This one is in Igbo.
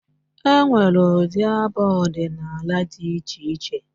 E nwere ụdị abụ odịnaala dị iche iche.